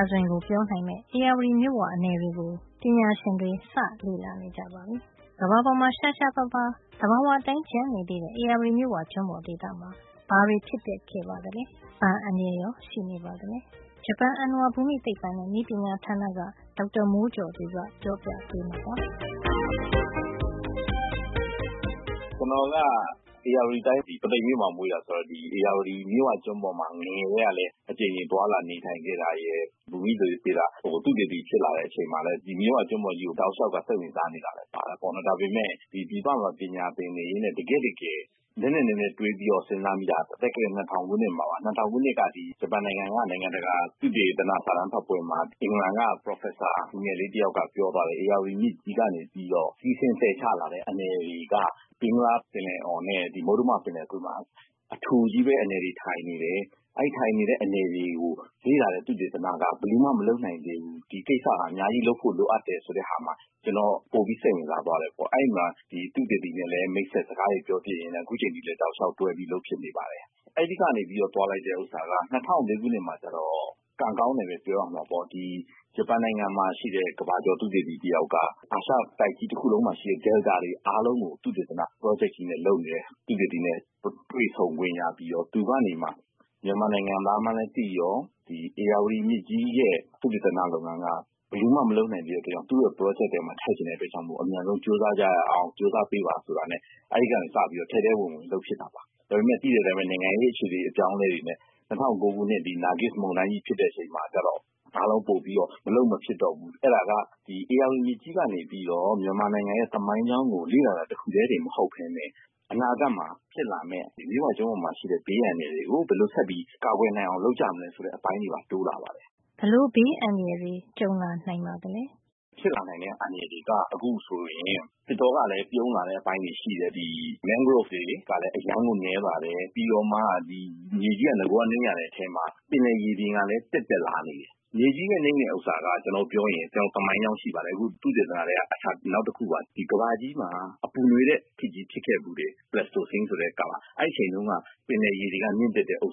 ာဇဝင်ကို ပြောနိုင်မယ့် ဧရာဝတီမြစ်ဝ အနည်တွေကို ပညာရှင်တွေ စတင် လေ့လာနေကြပါပြီ။ ကမ္ဘာပေါ်မှာ ရှားရှားပါးပါး သဘာဝအတိုင်း ကျန်နေသေးတဲ့ ဧရာဝတီမြစ်ဝကျွန်းပေါ်ဒေသမှာ ဘာတွေ ဖြစ်ပျက်ခဲ့ပါသလဲ။ ဘာအန္တရာယ်ရော ရှိနေပါသလဲ။ ဂျပန်အဏ္ဏဝါ ဘူမိသိပ္ပံနဲ့ နည်းပညာဌာနက ဒေါက်တာမိုးကျော်သူကပြောပြပေးမှာပါ။ “ကျနော်က ဧရာဝတီတိုင်း ပုသိမ်မြို့မှာ မွေးတာဆိုတော့ ဧရာဝတီဖြစ်ဝကျွန်းပေါ်မှာ ငယ်ငယ်ကတည်းက အကြိမ်ကြိမ်သွားလာ နေထိုင်ခဲ့တာရယ်၊ ဘူမိဗေဒ သုတေသီ ဖြစ်လာတဲ့ အချိန်မှာလည်း မြစ်ဝကျွန်းပေါ်ကြီးကို တောက်လျှောက် စိတ်ဝင်စားနေတာလည်း ပါတာပေါ့နော်။ ဒါပေမယ့် ပြည်ပမှာ ပညာသင်နေရင်းနဲ့ တကယ့် တကယ် နက်နက်နဲနဲ စဉ်းစားမိတာကတော့ ၂၀၀၀ ခုနှစ်မှာပါ။ ၂၀၀၀ ခုနှစ်တုန်းက ဂျပန်နိုင်ငံက နိုင်ငံတကာ သုတေသနစာတမ်းဖတ်ပွဲမှာ အင်္ဂလန်က ပါမောက္ခလူငယ်လေး တယောက်က ပြောသွားတယ်။ ဧရာဝတီမြစ်ကြီးက နေပြီးတော့ စီးဆင်း သယ်ချ လာတဲ့ အနည်တွေက ဘင်္ဂလားပင်လယ်အော်နဲ့ ဒီ မုတ္တမပင်လယ်ကွေ့မှာ အထူကြီးပဲ အနည်တွေထိုင်နေတယ်၊ အဲဒီ ထိုင်နေတဲ့ အနည်တွေကို လေ့လာတဲ့ သုတေသနက ဘယ်သူမှ မလုပ်နိုင်သေးဘူး။ ဒီကိစ္စဟာ အများကြီး လုပ်ဖို့ လိုအပ်တယ်ဆို ပြောတာမှာ ကျနော် ပိုပြီးစိတ်ဝင်စား သွားတယ်။ အဲဒီမှာ ဒီသုတေသီနဲ့လည်း မိတ်ဆက်စကားတွေ ပြောဖြစ်ရင်းနဲ့ အခုအချိန်အထိ လည်း တောက်လျှောက် တွဲပြီး လုပ်ဖြစ်နေပါတယ်။ အဲဒီကနေပြီးတော့ သွားလိုက်တဲ့ ဥစ္စာက ၂၀၀၄ ခုနှစ်မှာ ကျတော့ ကံကောင်းတယ်ပဲ ပြောရမှာပေါ့။ ဒီ ဂျပန်နိုင်ငံမှာ ရှိတဲ့ ကမ္ဘာကျော် သုတေသီ တယောက်က အာရှတိုက်ကြီး တခုလုံးမှာ ရှိတဲ့ မြစ်ဝကျွန်းပေါ် - delta တွေအားလုံးကို သုတေသန ပရောဂျက်ကြီးနဲ့ လုပ်နေတဲ့ သုတေသီနဲ့ တွေ့ဆုံခွင့် ရပြီးတော့ သူကနေမှ ကျနော် မြန်မာနိုင်ငံသား မှန်းလည်း သိရော၊ ဧရာဝတီမြစ်ကြီးရဲ့ သုတေသန လုပ်ငန်းက ဘယ်သူမှ မလုပ်နိုင်သေးတဲ့အတွက် သူ့ရဲ့ ပရောဂျက်ထဲမှာ ထည့်ချင်တဲ့အတွက်ကြောင့် မို့ အမြန်ဆုံး ကြိုးစားကြရအောင်၊ ကြိုးစား ပေးပါဆိုတာနဲ့ အဲဒီကနေ စပြီးတော့ ထဲထဲ ဝင်ဝင် လုပ်ဖြစ်တာပါ။ ဒါပေမယ့် သိတဲ့အတိုင်းပဲ နိုင်ငံရေးအခြေနေ အပြောင်းအလဲတွေနဲ့ ၂၀၀၈ ခုနှစ် နာဂစ်မုန်တိုင်းကြီး ဖြစ်တဲ့ အချိန်မှာ ကျတော့ အားလုံး ပိုပြီးတော့ မလုပ်မဖြစ်တော့ဘူး၊ ဖြစ်လာတယ်။ အဲဒါက ဧရာဝတီမြစ်ကြီးကနေပြီးတော့ မြန်မာနိုင်ငံရဲ့ သမိုင်းကြောင်းကို လေ့လာတာ တခုထဲတင် မဟုတ်ပဲနဲ့ အနာဂတ်မှာ ဖြစ်လာမယ့် မြစ်ဝကျွန်းပေါ်မှာ ရှိလာမယ့် ဘေးအန္တရာယ် တွေကို ဘယ်လို ဆက်ပြီးကာကွယ်နိုင်အောင် လုပ်ကြမလဲ ဆိုတဲ့ အပိုင်းတွေပါ တိုးလာပါတယ်။” ဘယ်လို ဘေးအန္တရာယ်တွေ ကြုံလာနိုင်ပါသလဲ။ “ဖြစ်လာနိုင်တဲ့ အန္တရာယ်တွေက အခု ဆိုရင် မြန်မာနိုင်ငံမှာ သစ်တောကလည်း ပြုန်းလာတဲ့ အပိုင်းတွေ ရှိတယ်။ ဒီ လမုတော - mangrove တွေ လည်း အရမ်းကို နဲလာတယ်။ ဒီကြားထဲ့ ဧရာဝတီမြစ်ဝကျွန်းပေါ် တည်နေတဲ့ မြေကြီးက အတော်နိမ့်ရတဲ့ အထဲ ပင်လယ်ရေမျက်နှာပြင် ကလည်း တက်တက်လာနေပြီ။ မြေကြီးနိမ့်တာ နဲ့ ပတ်သက်ပြီး ပြောရမယ် ဆိုရင် ကျနော်တို့မှာ သမိုင်းကြောင်း ရှိပါတယ်။ အဲဒီလို တွေ့ခဲ့တာက သုတေသနထဲက နောက်တခုပါ။ ကမ္ဘာကြီးမှာ ပူနွေးတဲ့ ခေတ်ကြီး ဖြစ်ခဲ့ဘူးပါတယ်။ Pleistocene လို့ခေါ်တဲ့ကာလ။ အဲဒီ အချိန်တုန်းက ပင်လယ်ရေတွေ မြင့်တက်ခဲ့တာက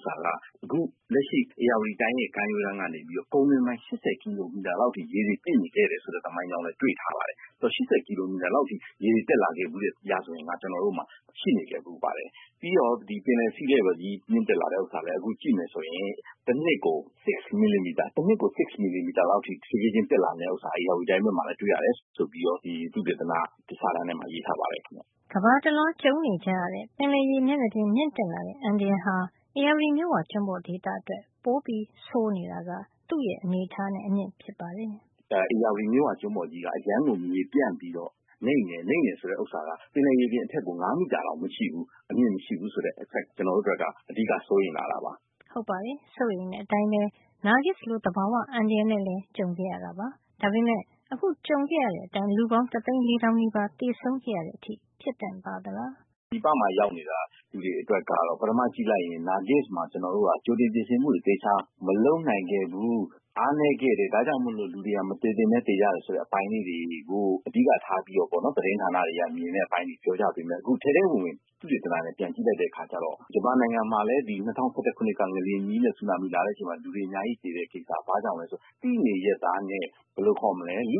အခု လက်ရှိ ဧရာဝတီတိုင်းရဲ့ ကမ်းရိုးတန်းကနေ ပြီးတော့ ကုန်းတွင်းပိုင်း ၈၀ ကီလိုမီတာ လောက်အထိ ရေတွေ ပြည့်နေခဲ့တယ် ဆိုတဲ့ သမိုင်းကြောင်းလည်း တွေ့ထား ပါတယ်။ အဲဒီတော့ ၈၀ ကီလိုမီတာ လောက်အထိ ရေတွေ တက်လာခဲ့ဘူးတယ် ဆိုတဲ့ ရာဇဝင်က ကျနော်တို့မှာ ရှိခဲ့ဘူးပါတယ်။ ပြီးတော့ ပင်လယ်ရေ မျက်နှာပြင်ကြီး မြင့်တက်လာတာ ကလည်း အခု ကြည့်မယ် ဆိုရင် တနှစ်ကို ၆ မီလီမီတာ လောက်အထိ တဖြေးဖြေးချင်း တက်လာနေတယ် ဆိုတာ ဧရာဝတီ တိုင်းဘက်မှာလည်း တွေ့ရတယ် ဆိုပြီးတော့ သုတေသန စာတမ်းထဲမှာ ရေးထားပါတယ်။” ကမ္ဘာတလွှား ကြုံနေကြရတဲ့ ပင်လယ်ရေမျက်နှာပြင် မြင့်တက်လာတဲ့ အန္တရာယ်ဟာ ဧရာဝတီမြစ်ဝကျွန်းပေါ်ဒေသအတွက်တော့ ပိုဆိုးနေတာက သူ့ရဲ့ အနေအထားနဲ့ အမြင့်ဖြစ်ပါတယ်။ “ဧရာဝတီမြစ်ဝကျွန်းပေါ်ကြီးက အရမ်းကို မြေပြန့်ပြီးတော့ နိမ့်နေတယ်။ နိမ့်တယ် ဆိုတာက ပင်လယ်မြေမျက်နှာပြင် အထက်ကို ၅ မီတာတောင် မရှိဘူး။ အမြင့်မရှိဘူး ဆိုတဲ့ အချက်က ကျနော်တို့အတွက် အဓိက စိုးရိမ်လာရတာပါ။” ဟုတ်ပါတယ် စိုးရိမ်တဲ့အတိုင်းပဲ နာဂစ်လို သဘာဝ အန္တရာယ်နဲ့လည်း ကြုံခဲ့ရတာပါ။ ဒါပေမယ့် အခု ကြုံခဲ့ရတဲ့အတိုင်း လူပေါင်း တသိန်း ၄ သောင်းနီးပါး သေဆုံး ရတဲ့အထိ ဖြစ်သင့်ပါသလား။ “ပြည်ပမှာ ရောက်နေတဲ့လူအတွက် ကတော့ ပထမ ကြည့်လိုက်ရင် နာဂစ်မှာ ကျနော်တို့က ကြိုတင် ပြင်ဆင်မှုတွေ သေချာမလုပ်နိုင်ခဲ့ဘူူး။ အားနဲခဲ့တယ်။ ဒါ့ကြောင့်မို့လို့၊ လူတွေ မသေသင့်ပဲ သေရတယ် ဆိုတဲ့ အပိုင်းလေးတွေကို အဓိကထားပြီးတော့ပေါ့နော်၊ သတင်းဌာနတွေက မြင်တဲ့အပိုင်းတွေ ပြောကြပေမယ့်၊ အခု ထဲထဲဝင်ဝင် သုတေသနနဲ့ ပြန်ကြည့်လိုက်တဲ့ အခါကျတော့ ဂျပန်နိုင်ငံမှာလည်း ၂၀၁၁ ခုနှစ်က ငလျင်ကြီးနဲ့ ဆူနာမီလာတဲ့အချိန်မှာ လူတွေ အများကြီး သေတယ်ဆိုတဲ့ အဖြစ်က ဘာ့ကြောင့်လည်း ဆိုတော့ သိနေရက်သားနဲ့ - လူ့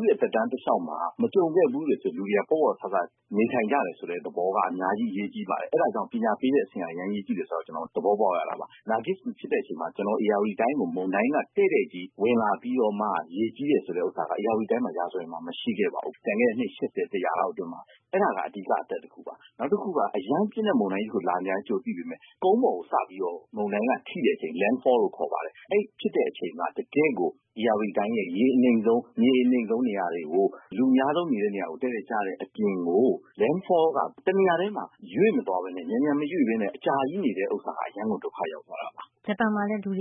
ရဲ့ သက်တမ်းး တလျှောက်မှာ မကြုံခဲ့ဘူးတဲ့အတွက် လူတွေက ပေါ့ပေါ့ဆဆနဲ့ နေထိုင်ကြတယ် ဆိုတဲ့ သဘောက အများကြီး အရေးကြီးပါတယ်။ အဲဒါကြောင့် ပညာပေးတဲ့အဆင့်က အရမ်း အရေးကြီးတယ် ဆိုတာကို သဘောပေါက်ရတာပါ။ နာဂစ်မှာ ကျနော်တို့ ဧရာဝတီတိုင်းကို မုန်တိုင်းက တဲ့တဲ့ကြီး ဝင်လာပြီးတော့မှ ရေကြီးတယ် ဆိုတာက ဧရာဝတီတိုင်းမှာ ရာဇဝင်မှာ မရှိခဲ့ပါဘူး။ ကျန်ခဲ့တဲ့ အနှစ် ၈၀ -၁၀၀ လောက် အတွင်းမှာ။ အဲဒါက အဓိက ပြဿနာ တခုပါ။ နောက်တခုက အရမ်းပြင်းတဲ့မုန်တိုင်းကြီး တခု လာမယ်မှန်း ကြိုသိပေမယ့် ကုန်းပေါ်ကို စပြီးတော့ မုန်တိုင်းက ထိတဲ့ အချိန်မှာ land fall လို့ ခေါ်ပါတယ်။ အဲဒီဖြစ်တဲံအချိန်မှာ တကယ့်ကို ဧရာဝတီတိုင်းရဲ့ ရေအနိမ့်ဆုံး မြေအနိမ့်ဆုံး၊ နေရာတွေကို လူအများဆုံး နေတဲ့ နေရာတွေကို တဲ့တဲ့ကျတဲ့ အပြင်ကို၊ land fall က မြန်မြန်မရွေ့ပဲနဲ့ တနေရာထဲမှာ အကြားကြီးနေနေတဲ့ ဥစ္စာက အရမ်းကိုဒုက္ခရောက်သွားတာပါ။” ။ ဂျပန်မှာလည်း ဆူ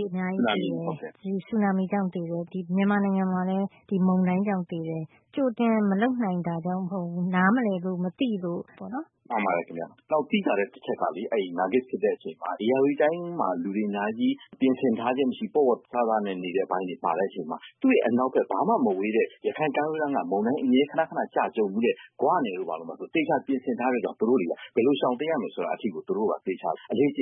နာမိကြောင့် လူတွေအများကြီးသေတယ်၊ မြန်မာနိုင်ငံမှာလည်း ဒီမုန်တိုင်းကြောင့် သေတယ်၊ ကြိုတင်မလုပ်နိုင်တာထက် နားမလည်လို့ မသိလို့ပေါ့နော်။ “မှန်ပါတယ် ခင်ဗျ။ နောက် သိသာတဲ့ တချက်က - အဲဒီနာဂစ်တိုက်တဲ့ အချိန်က ဧရာဝတီတိုင်းမှာ လူတွေ အများကြီး ပြင်ဆင်ထားခြင်းမရှိ၊ ပေါ့ပေါ့ဆဆနဲ့ နေတဲ့ အပိုင်းတွေ ပါနေတဲ့အချိန်မှာ သူ့ရဲ့ အနောက်ဖက် ဘာမှ သိပ်မဝေးတဲ့ ရခိုင်ကမ်းရိုးတန်းက မုန်တိုင်းခဏခဏ ကျတာ ကြုံဖူးတဲ့ ဂွ နယ်တို့ ဘာတို့ဆို သေချာ ပြင်ဆင်ထားတဲ့အတွက်ကြောင့် သူတို့ တွေက ဘယ်လို ရှောင်တိမ်းရမယ် ဆိုတာ အထိကို သူတို့က အလေ့အကျ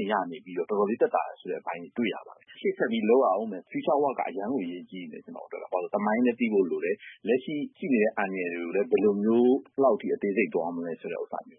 င့်ရနေပြီးတော့ တော်တော်လေး သက်သာတယ် ဆိုတဲ့ အပိုင်းတွေတွေ့ရတယ်။ ဆိုတော့ ရှေ့ဆက် သုတေသန လုပ်ရအုံးမယ့် future work က အရမ်းကို အရေးကြီးနေတယ်။ ဘာလို့လည်း ဆိုတော့ သမိုင်းကိုလည်း သိဖို့ လိုတယ်။ လက်ရှိဖြစ်နေတဲ့ အန္တရာယ်တွေကိုလည်း ဘယ်လိုမျိုး ဘယ်လောက်အထိ အသေးစိတ်သွားရမလဲ ဆိုတာကို။” ။အဲဒီတော့ ဘာတွေ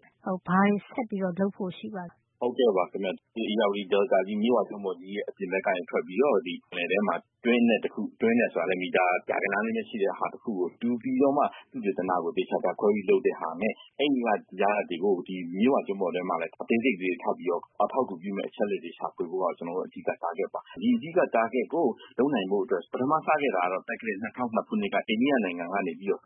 ဆက်ပြီးလုပ်ဖို့ ရှိပါသလဲ “ဟုတ်ကဲ့ပါခင်ဗျ။ ဒီဧရာဝတီ မြစ်ဝကျွန်းပေါ်ကြီးရဲ့ အပြင်ဘက်ကနေ ထွက်ပြီးတော့၊ ဒီပင်လယ်ပြင်ထဲမှာ တွင်းအနက်ကိုတူး - ဒီတွင်းအနက်ဆိုတာကလည်း မီတာ ရာဂဏန်း လေးပဲရှိတဲ့ဟာ တခု ကို တူးပြီးတော့မှ သုတေသနကို သေသေချာချာ ခွဲပြီးလုပ်သင့်ပါတယ်။ အဲဒီက ရလဒ်တွေကိုယူပြီး ဒီမြစ်ဝကျွန်းပေါ်ထဲမှာလည်း အသေးစိတ်ကလေးတွေ ထပ်ပြီးတော့ အထောက်အကူ ဖြစ်မယ့်အချက်တွေ ရှာဖွေဖို့က အဓိက target ဦးတည်ချက်ပါ။ ဒီအဓိက targer ကို လုပ်နိုင်ဖို့ အတွက်ကို ပထမစခဲ့တာကတော့ သက္ကရာဇ် ၂၀၀၂ ခုနှစ်က အိန္ဒိယနိုင်ငံက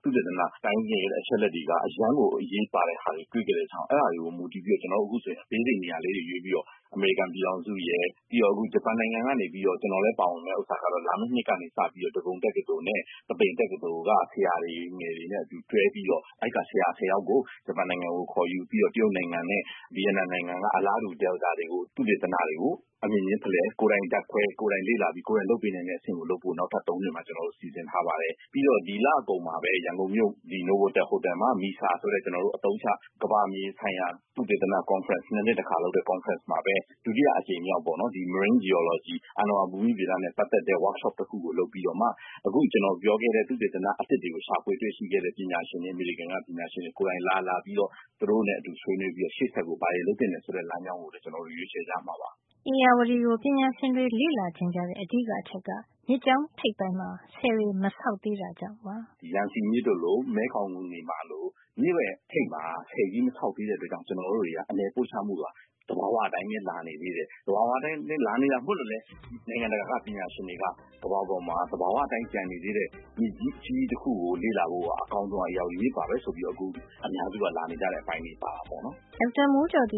သုတေသန scientific အချက်အလက်တွေက အရမ်းကို အရေးပါတဲ့ ဟာမျိုးတွေ့ခဲ့တဲ့ဟာပါ။ အဲဒါတွေ အပေါ် မူတည်ပြီးတော့ ကျနော်တို့ အခုအခါ အသေးစိတ် နေရာလေးတွေ ရွေးပြီးတော့ သုတေသန လုပ်မှာပါ။ အမေရိကန် ပြည်ထောင်စုရယ်၊ ပြီးတော့ အခု ဂျပန်နိုင်ငံကနေပြီးတော့ ကျနော်လည်း ပါဝင်မယ့် ဥစ္စာကတော့ လာမယ့်နှစ်ကနေပြီးတော့ ဒဂုံ တက္ကသိုလ်နဲ့ ပုသိမ်တက္ကသိုလ်က ဆရာတွေနဲ့ တွဲပြီးတော့ အဲဒီက ဆရာ ၁၀ ယောက်ကို ဂျပန်နိုင်ငံကို ခေါ်ယူပြီးတော့ တရုတ်နိုင်ငံနဲ့ ဗီယက်နမ်နိုင်ငံက အလားတူ delta မြစ်ဝကျွန်းပေါ်ဒေသ သုတေသနတွေကို အမြင်ချင်းဖလှယ်၊ ကိုယ်တိုင်ဓါတ်ခွဲ၊ ကိုယ်တိုင်လေ့လာပြီး ကိုယ်တိုင် လုပ်ပေးနိုင်တဲ့ အဆင့်ရောက်အောင် လုပ်ဖို့ နောက်ထပ် ၃ နှစ် မှာ ကျနော်တို့ စီစဉ်ထားပါတယ်။ ပြီးတော့ ဒီလအကုန်မှာပဲ ရန်ကုန်မြို့ နိုဗိုတယ် ဟိုတယ်မှာ မီဆာ ဆိုတဲ့ အသုံးချ ကမ္ဘာမြေဆိုင်ရာ သုတေသန ကွန်ဖရင့် - ၂နှစ် တခါ လုပ်တဲ့ အစည်းအဝေးမှာပဲ - ဒါက ဒုတိ အကြိမ်မြောက်ပေါ့နော်။ marine geology အဏ္ဏဝါ ဘူမိဗေဒနဲ့ ပတ်သက်တဲ့ အလုပ်ရုံဆွေးနွေးပွဲ workshop တခု လုပ်ပြီးတော့မှ အခု ကျနော်ပြောခဲ့တဲ့ သုတေသနအသစ်တွေကို ရှာဖွေ တွေ့ရှိခဲ့တဲ့ ပညာရှင်တွေ၊ အမေရိကန်က ပညာရှင်တွေကိုယ်တိုင်လာ၊ လာပြီးတော့ သူတို့နဲ့ အတူ ဆွေးနွေးပြီးတော့ ရှေ့ဆက် ဘာတွေ လုပ်သင့်တယ် ဆိုတဲ့ လမ်းကြောင်းကို ကျနော်တို့ ရွေးချယ်ကြမှာပါ။” ဧရာဝတီကို ပညာရှင်တွေ လေ့လာချင်ကြတဲ့ အဓိက အချက်က မြစ်ကြောင်းထပ်ပိုင်းမှာ ဆည်တွေ မဆောက်သေးတာကြောင့် ဖြစ်ပါတယ်။ “ယန်စီမြစ်တို့လို၊ မဲခေါင်တွေမှာလို၊ မြစ်ရဲ့ ထိပ်မှာ ဆည်ကြီး မဆောက်သေးတဲ့ အတွက်ကြောင့် ကျနော်တို့ရဲ့ အနည်ပို့ချမှုက သဘာဝ အတိုင်းပဲ လာနေသေးတယ်။ ဒီလို သဘာဝ အတိုင်းပဲ လာနေတာမို့လို့လည်း နိုင်ငံတကာက ပညာရှင်တွေက ကမ္ဘာပေါ်မှာ သဘာဝ အတိုင်း ကျန်နေသေးတဲ့ မြစ်ကြီး အကြီးကြီး တခုကို လေ့လာဖို့က အကောင်းဆုံးဟာ ဧရာဝတီမြစ်ပါပဲလို့ အခု အများစုက လေ့လာဖို့ လာနေကြတဲ့ အပိုင်းတွေ ပါတာပေါ့နော်။” ဒေါက်တာမိုးကျော်သူ